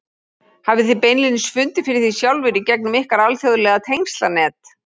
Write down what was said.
Hafið þið beinlínis fundið fyrir því sjálfir í gegnum ykkar alþjóðlega tengslanet?